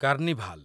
carnival